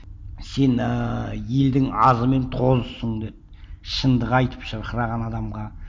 сен ыыы елдің азы мен тозысың деді шындық айтып шырқыраған адамға